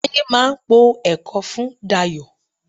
Táyé máa po ẹ̀kọ fún Dayọ̀